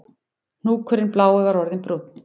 Hnúkurinn blái var orðinn brúnn